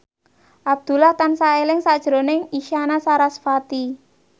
Abdullah tansah eling sakjroning Isyana Sarasvati